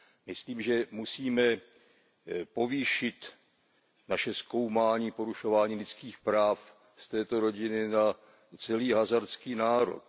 Myslím, že musíme povýšit naše zkoumání porušování lidských práv z této rodiny na celý hazárský národ.